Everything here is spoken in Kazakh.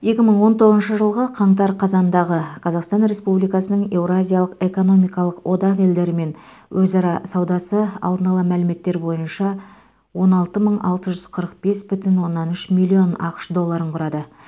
екі мың он тоғызыншы жылғы қаңтар қазандағы қазақстан республикасының еуразиялық экономикалық одақ елдерімен өзара саудасы алдын ала мәліметтер бойынша он алты мың алты жүз қырық бес бүтін оннан үш миллион ақш долларын құрады